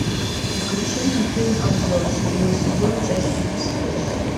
включи мне фильм обзор седьмой сезон часть тридцать восемь